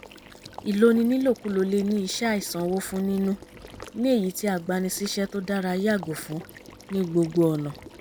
ìloni nílòkulò le ní iṣẹ́ àìsanwó fún nínú ní èyí tí agbani síṣẹ́ tó dára yàgò fún ní gbogbo ọ̀nà